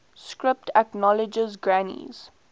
script acknowledged granny's